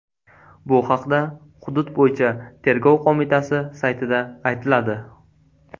Bu haqda hudud bo‘yicha tergov qo‘mitasi saytida aytiladi .